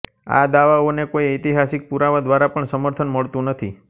આ દાવાઓને કોઈ ઐતિહાસિક પુરાવા દ્વારા પણ સમર્થન મળતું નથી